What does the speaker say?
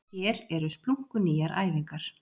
Hér eru splunkunýjar æfingar